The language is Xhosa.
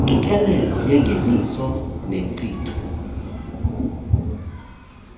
engqikelelo engeniso nenkcitho